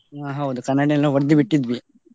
ಹಾ ಹೌದು ಕನ್ನಡಿಯೆಲ್ಲ ಒಡ್ದು ಬಿಟ್ಟಿದ್ವಿ.